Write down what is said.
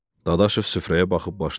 Dadaşov süfrəyə baxıb başını buladı.